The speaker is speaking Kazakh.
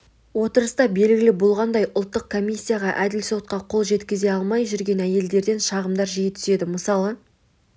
отырыста белгілі болғандай ұлттық комиссияға әділ сотқа қол жеткізе алмай жүрген әйелдерден шағымдар жиі түседі мысалы